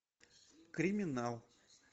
криминал